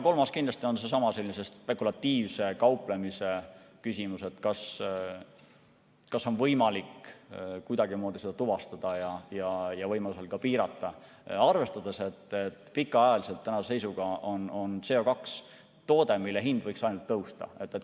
Kolmas on kindlasti seesama spekulatiivse kauplemise küsimus, kas on võimalik kuidagimoodi seda tuvastada ja võimaluse korral ka piirata, arvestades, et tänase seisuga on CO2 pikaajaliselt toode, mille hind võiks ainult tõusta.